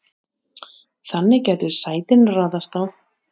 þannig gætu sætin raðast á